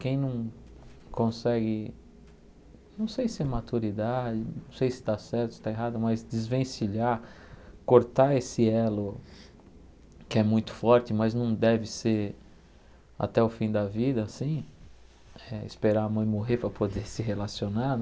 Quem não consegue, não sei se é maturidade, não sei se está certo, se está errado, mas desvencilhar, cortar esse elo que é muito forte, mas não deve ser até o fim da vida assim, eh esperar a mãe morrer para poder se relacionar.